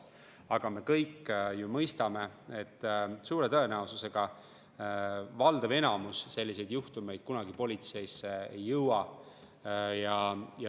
Aga me kõik ju mõistame, et suure tõenäosusega valdav enamus selliseid juhtumeid kunagi politseisse ei jõua.